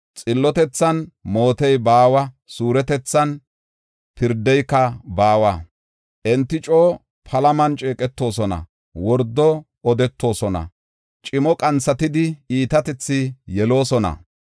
Xillotethan mootey baawa; suuretethan pirdeyka baawa. Enti coo palaman ceeqetoosona; wordo odetoosona; cimo qanthatidi iitatethi yeloosona.